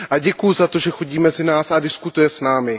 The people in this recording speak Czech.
Děkuju za to, že chodí mezi nás a diskutuje s námi.